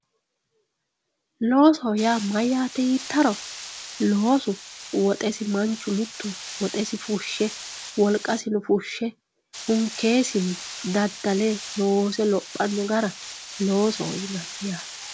Loosoho yaa mayyate yiittaro loosu woxesi manchu mitu ,woxesi fushe wolqasino fushe hunkisinni daddale loose lophano gara loosoho yinanni yaate.